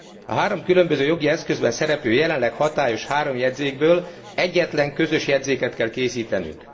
A három különböző jogi eszközben szereplő jelenleg hatályos három jegyzékből egyetlen közös jegyzéket kell készítenünk.